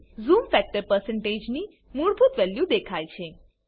zoom factor ની મૂળભૂત value દેખાય છે